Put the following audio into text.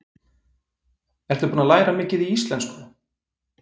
Ertu búin að læra mikið í íslensku?